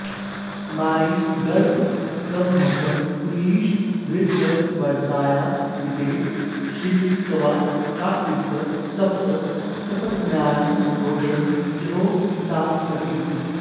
मायी गर्भगमर्भकं कुलिशभृद्भग्नव्रताया दिते श्च्छित्वा चाकृत सप्त सप्ततनयान् रोषं जहौ सा सती